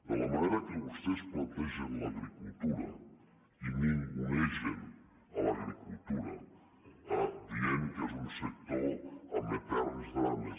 de la manera que vostès plantegen l’agricultura i ningunegen l’agricultura dient que és un sector amb eterns drames